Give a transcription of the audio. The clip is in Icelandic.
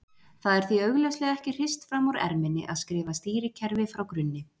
Það er því augljóslega ekki hrist fram úr erminni að skrifa stýrikerfi frá grunni.